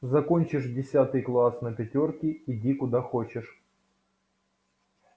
закончишь десятый класс на пятёрки иди куда хочешь